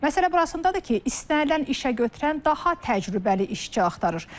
Məsələ burasındadır ki, istənilən işə götürən daha təcrübəli işçi axtarır.